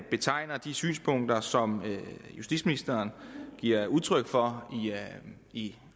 betegner de synspunkter som justitsministeren giver udtryk for i